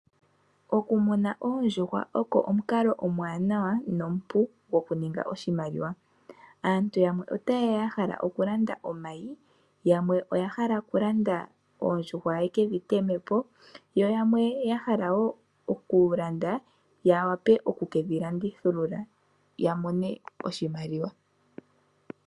Okumuna oondjuhwa oko omukalo omwanawa nomupu go kuninga oshimaliwa. Aantu yamwe ota yeya ya hala oku landa omayi, yamwe oya hala oku landa oondjuhwa ye kedhi teme po, yo yamwe ya hala wo oku landa ya wape oku kedhilandithilula ya mone oshimaliwa.